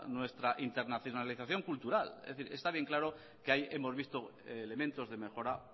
nuestra internalización cultural es decir está bien claro que ahí hemos visto elementos de mejora